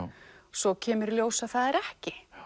svo kemur í ljós að það er ekki